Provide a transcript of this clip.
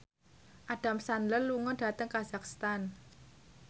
Adam Sandler lunga dhateng kazakhstan